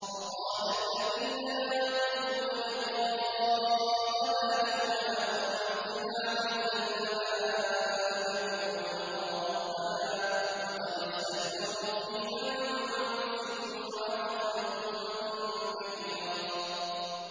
۞ وَقَالَ الَّذِينَ لَا يَرْجُونَ لِقَاءَنَا لَوْلَا أُنزِلَ عَلَيْنَا الْمَلَائِكَةُ أَوْ نَرَىٰ رَبَّنَا ۗ لَقَدِ اسْتَكْبَرُوا فِي أَنفُسِهِمْ وَعَتَوْا عُتُوًّا كَبِيرًا